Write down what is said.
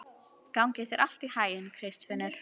Gangi þér allt í haginn, Kristfinnur.